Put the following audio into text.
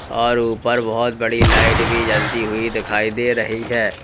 और ऊपर बहुत बड़ी लाइट भी जलती हुई दिखाई दे रही है।